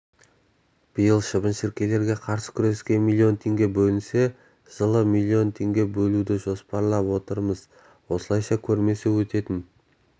биыл шыбын-шіркейлерге қарсы күреске миллион теңге бөлінсе жылы миллион теңге бөлуді жоспарлап отырмыз осылайша көрмесі өтетін